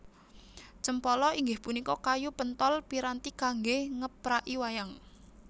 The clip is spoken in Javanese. Cempala inggih punika kayu penthol piranti kanggé ngepraki wayang